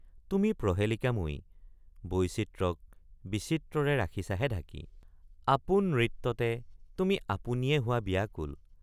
তুমি প্ৰহেলিকাময়ী বৈচিত্ৰক বিচিত্ৰৰে ৰাখিছাহে ঢাকি ৷ আপোন নৃত্যতে তুমি আপুনিয়ে হোৱা বিয়াকুল।